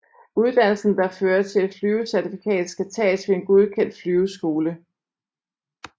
Uddannelsen der fører til et flyvecertifikat skal tages ved en godkendt flyveskole